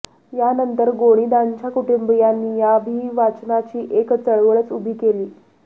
यानंतर गोनीदांच्या कुटुंबीयांनी या अभिवाचनाची एक चळवळच उभी केली